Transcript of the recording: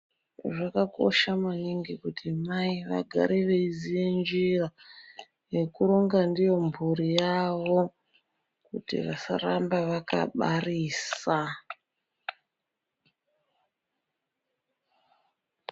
Zvakakosha maningi kuti mai vagare veiziya njira yekuronga ndiyo mhuri yawo kuti vasaramba vakabarisa.